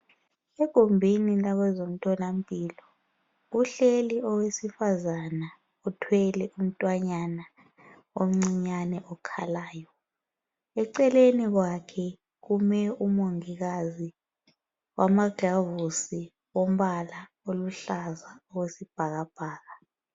Egumbini labazemtholampilo kuhleli owesifazana uthwele umtwanyana omncinyane okhalayo eceleni kwakhe kume umongikazi wamaglavosi ombala oluhlaza owesibhakabhaka.